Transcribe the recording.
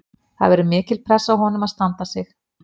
Það verður mikil pressa á honum að standa sig.